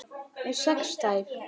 Með sex tær?